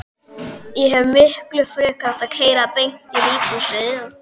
Ég hefði miklu frekar átt að keyra beint í líkhúsið.